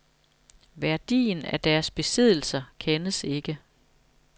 Værdien af deres besiddelser kendes ikke.